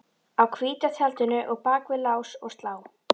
Á hvíta tjaldinu og bak við lás og slá